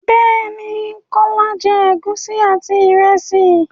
Bẹ́ẹ̀ ní, Kọ́lá jẹ́ ègúsí àti ìrẹsì.